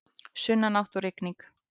Sunnanátt og rigning